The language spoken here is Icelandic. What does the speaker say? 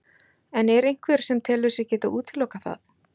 En er einhver sem telur sig geta útilokað það?